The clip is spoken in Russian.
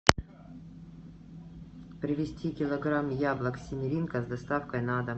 привезти килограмм яблок семеринко с доставкой на дом